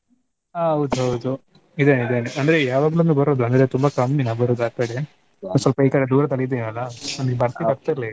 ಆ ಹೌದ್ ಹೌದು ಇದೇನೆ ಇದೇನೆ . ಅಂದ್ರೆ ಯಾವಗ್ಲೋಮ್ಮೆ ಬರುದು ಅಂದ್ರೆ ತುಂಬಾ ಕಮ್ಮಿ ನಾ ಬರುದು ಆಕಡೆ. ಸೊಲ್ಪ ಈ ಕಡೆ ದೂರದಲ್ಲಿ ಇದಿವಲ್ಲಾ .